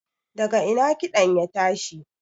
daga ina kiɗan ya tashi?